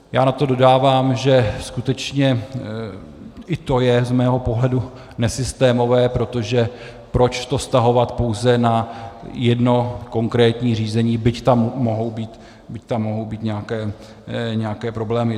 Já na to dodávám, že skutečně i to je z mého pohledu nesystémové, protože proč to vztahovat pouze na jedno konkrétní řízení, byť tam mohou být nějaké problémy.